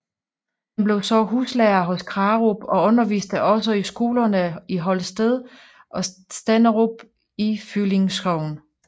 Han blev så huslærer hos Krarup og underviste også i skolerne i Holsted og Stenderup i Føvling Sogn